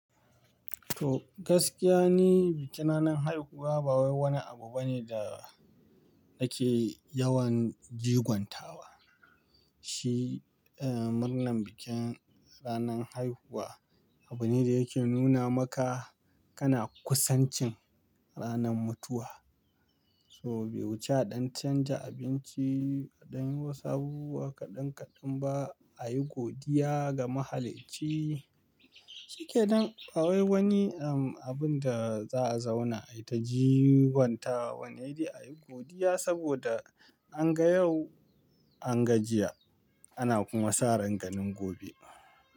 To gaskiya ni, bikin ranan haihuwa ba wai wani abu bane da nake yawan jiguntawa. Shi, eh, murnan bikin ranan haihuwa abu ne da yake nuna maka kana kusancin ranan mutuwa. So bai wuci aɗan canja abinci, aɗan yi wasu abubuwa kaɗan kaɗan ba a yi godiya ga mahalicci. Shikenan, ba wai wani, ehm, abun da za a zauna ai ta jiguntawa. Wanne dai a yi godiya saboda an ga yau, an ga jiya, ana kuma sa ran ganin gobe.